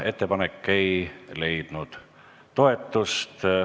Ettepanek ei leidnud toetust.